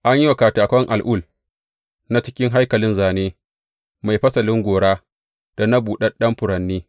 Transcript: An yi wa katakan itacen al’ul na cikin haikalin zāne mai fasalin gora da na buɗaɗɗun furanni.